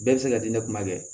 Bɛɛ bɛ se ka di ne ma dɛ